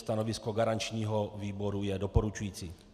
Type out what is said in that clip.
Stanovisko garančního výboru je doporučující.